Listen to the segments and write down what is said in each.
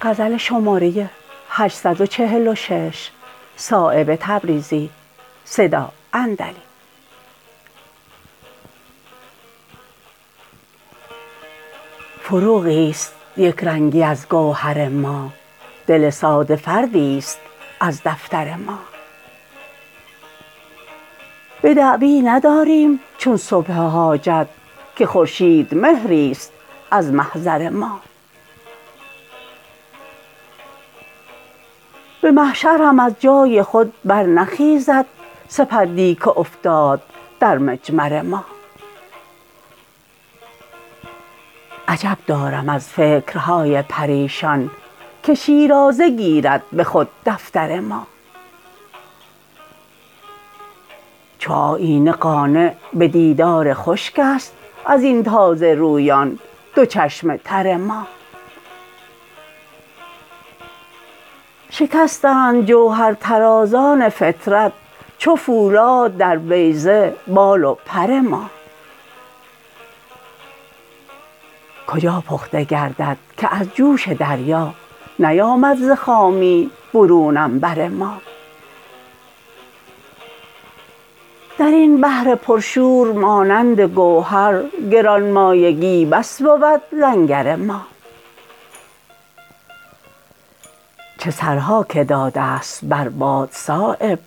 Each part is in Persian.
فروغی است یکرنگی از گوهر ما دل ساده فردی است از دفتر ما به دعوی نداریم چون صبح حاجت که خورشید مهری است از محضر ما به محشر هم از جای خود برنخیزد سپندی که افتاد در مجمر ما عجب دارم از فکرهای پریشان که شیرازه گیرد به خود دفتر ما چو آیینه قانع به دیدار خشک است ازین تازه رویان دو چشم تر ما شکستند جوهر طرازان فطرت چو فولاد در بیضه بال و پر ما کجا پخته گردد که از جوش دریا نیامد ز خامی برون عنبر ما درین بحر پر شور مانند گوهر گرانمایگی بس بود لنگر ما چه سرها که داده است بر باد صایب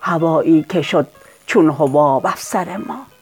هوایی که شد چون حباب افسر ما